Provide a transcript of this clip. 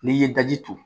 N'i ye daji turu